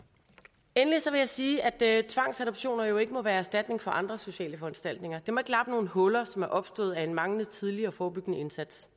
endelig vil jeg sige at tvangsadoptioner jo ikke må være erstatning for andre sociale foranstaltninger det må ikke lappe nogle huller som er opstået af en manglende tidlig og forebyggende indsats